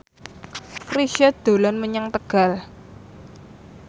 Chrisye dolan menyang Tegal